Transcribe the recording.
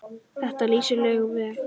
Þetta lýsir Laugu vel.